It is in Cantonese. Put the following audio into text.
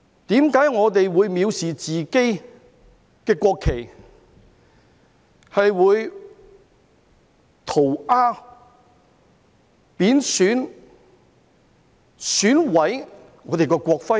為何我們會藐視自己的國旗，會塗鴉、貶損、損毀我們的國徽？